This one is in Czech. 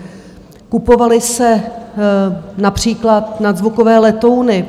Kupovaly se například nadzvukové letouny.